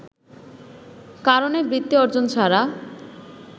কারনে বৃত্তি অর্জন ছাড়া